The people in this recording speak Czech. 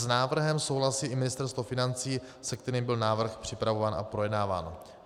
S návrhem souhlasí i Ministerstvo financí, se kterým byl návrh připravován a projednáván.